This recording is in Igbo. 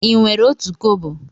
Ị nwere otu kobo?